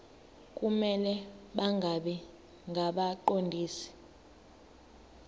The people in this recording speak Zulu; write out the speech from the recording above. kumele bangabi ngabaqondisi